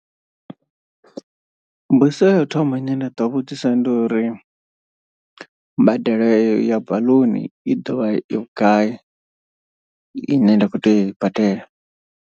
Mbudziso ya u thoma ine nda ḓo vhudzisa ndi uri, mbadelo ya baḽuni i dovha i vhugai ine nda kho tea u i badela.